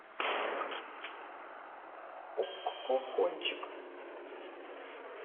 окко кончик